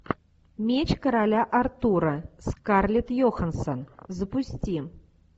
меч короля артура скарлетт йоханссон запусти